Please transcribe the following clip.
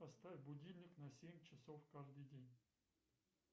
поставь будильник на семь часов каждый день